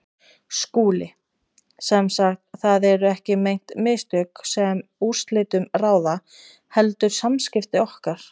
SKÚLI: Sem sagt: það eru ekki meint mistök, sem úrslitum ráða, heldur samskipti okkar?